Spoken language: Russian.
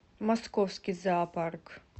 московский зоопарк